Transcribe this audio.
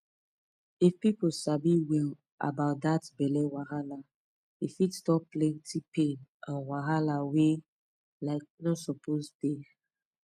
if people sabi well about that belly wahala e fit stop plenty pain and wahala wey um no suppose dey